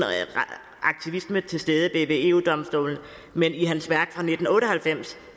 aktivisme til stede ved eu domstolen men i hans værk fra nitten otte og halvfems